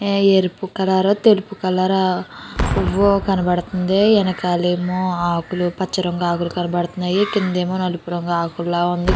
ఏ ఎరుపు కలరు తెలుపు కలరు పువ్వు కనబడుతోంది ఎనకాలేమో ఆకులు పచ్చరంగు ఆకులు కనబడుతున్నాయి కిందేమో నలుపు రంగు ఆకుల ఉంది.